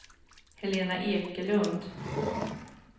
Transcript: Helena Ekelund